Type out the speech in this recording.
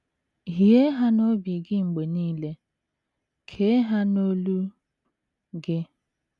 Hie ha n’obi gị mgbe nile, kee ha n’olu gị. ”